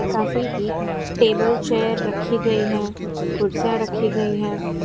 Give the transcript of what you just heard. काफी table chair रखी गई हैं कुर्सियां रखी गई है।